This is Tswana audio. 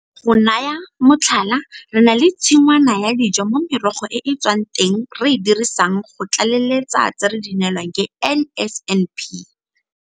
Go naya motlhala, re na le tshingwana ya dijo mo merogo e e tswang teng re e dirisang go tlaleletsa tse re di neelwang ke NSNP.